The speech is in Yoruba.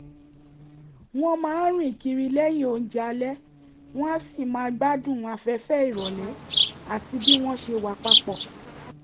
wọ́n máa ń rìn kiri lẹ́yìn óúnjẹ alẹ́ wọ́n á sì gbádùn afẹ́fẹ́ ìrọ̀lẹ́ àti bí wọ́n ṣe wà papọ̀